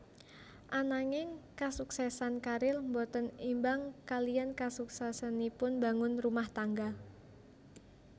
Ananging kasuksèsan karir boten imbang kaliyan kasuksèsanipun mbangun rumah tangga